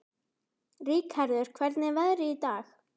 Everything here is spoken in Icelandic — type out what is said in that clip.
Rikharður, hvernig er veðrið í dag?